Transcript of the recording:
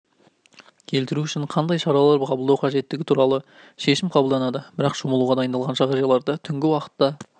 келтіру үшін қандай шаралар қабылдау қажеттігі туралы шешім қабылданады бірақ шомылуға дайындалған жағажайларда түнгі уақытта